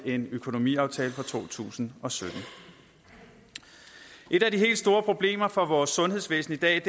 en økonomiaftale for to tusind og sytten et af de helt store problemer for vores sundhedsvæsen i dag